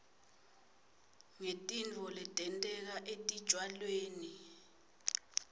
ngetitfo letenteka etitjalweni